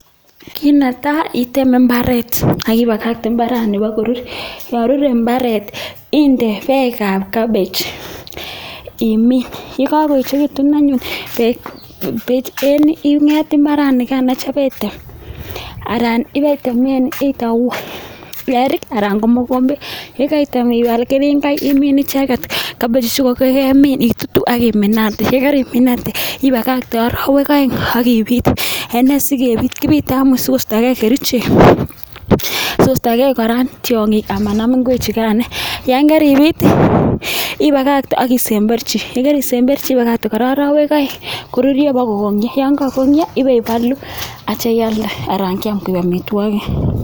Kit netai iteme mbaret ak ibakakte mbarani bogorur. Yon rure mbaret inde beek ab cabbage imin. Ye kagoechegitun anyun inget mbaranikano item anan ibe itemen eik anan ko mogombet. Ye keitem ibal keringoik imin icheget cabbage ichechukogemin itutu ak iminate. Ye kariminate ibakate arawek oeng ak ibit ene sikebit? Kibite anyun sikostege kerichek. Sikostoge kora tiong'ik ama nam ngwechugan. Yon keribit i ibakakte ak isemberchi. Ye kerisemberchi ibakakte kora orowek oeng kururyo bogo kogongnyo, ye kogongnyo ibeibolo ak kitya ialde anan kyam koik amitwogik.